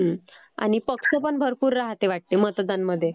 हो आणि पक्ष पण भरपूर राहते वाटते मतदानमध्ये.